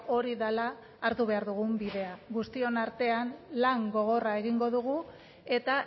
hori dela hartu behar dugun bidea guztion artean lan gogorra egingo dugu eta